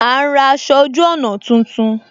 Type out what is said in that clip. A ń ra aṣọ ojú ọna tuntun